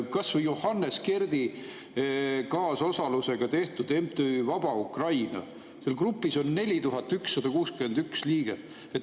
Kas või Johannes Kerdi kaasosalusega tehtud MTÜ Vaba Ukraina, seal grupis on 4161 liiget.